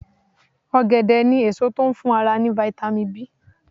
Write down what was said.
Ọ̀gẹ̀dẹ̀ ni èso tó ń fún ara ní "vitamIn B".